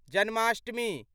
Janmashtami